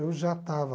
Eu já estava...